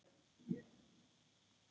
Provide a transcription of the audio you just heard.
Ýmsar eignir.